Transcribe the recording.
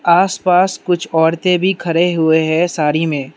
आस पास कुछ औरतें भी खड़े हुए हैं साड़ी में --